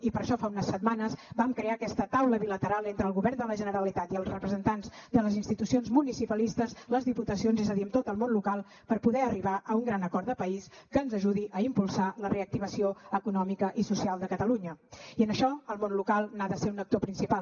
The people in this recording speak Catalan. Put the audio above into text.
i per això fa unes setmanes vam crear aquesta taula bilateral entre el govern de la generalitat i els representants de les institucions municipalistes les diputacions és a dir amb tot el món local per poder arribar a un gran acord de país que ens ajudi a impulsar la reactivació econòmica i social de catalunya i en això el món local n’ha de ser un actor principal